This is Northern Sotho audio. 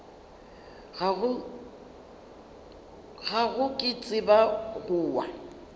gago ke tseba go wa